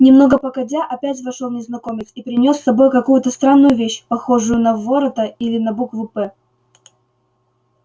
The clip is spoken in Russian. немного погодя опять вошёл незнакомец и принёс с собой какую-то странную вещь похожую на ворота или на букву п